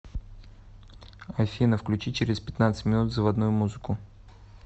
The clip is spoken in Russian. афина включи через пятнадцать минут заводную музыку